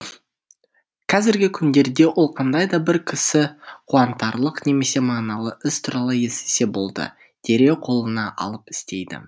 қазіргі күндерде ол қандай да бір кісі қуантарлық немесе мағыналы іс туралы естісе болды дереу қолына алып істейді